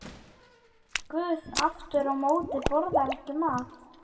Guð aftur á móti borðar ekki mat.